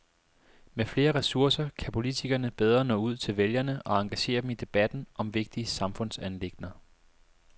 Med flere ressourcer kan politikerne bedre nå ud til vælgerne og engagere dem i debatten om vigtige samfundsanliggender.